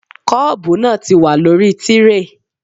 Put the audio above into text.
Kọ́ọ̀bu náà ti wà lórí tíréè